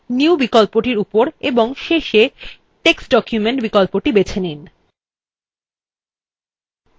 এবং তারপর new বিকল্পটির উপর এবং শেষে text document বিকল্পটির বেছে নিন